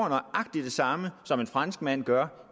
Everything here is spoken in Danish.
nøjagtig det samme som en franskmand gør